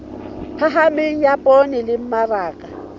phahameng ya poone le mmaraka